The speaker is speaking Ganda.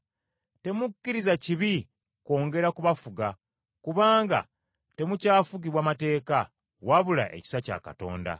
Temukkiriza kibi kwongera kubafuga, kubanga temukyafugibwa mateeka, wabula ekisa kya Katonda.